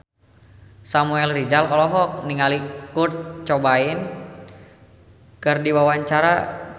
Samuel Rizal olohok ningali Kurt Cobain keur diwawancara